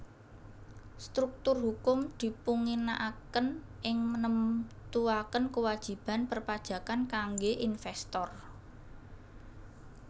Struktur hukum dipunginaaken ing nemtuaken kewajiban perpajakan kangge investor